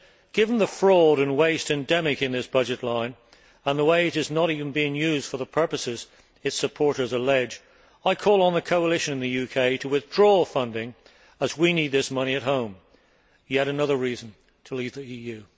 Given the fraud and waste endemic in this budget line, and the way it is not even being used for the purposes its supporters allege, I call on the coalition in the UK to withdraw funding, as we need this money at home yet another reason to leave the EU.